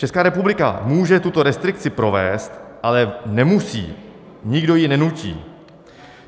Česká republika může tuto restrikci provést, ale nemusí, nikdo ji nenutí.